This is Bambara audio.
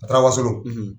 A taara wasolon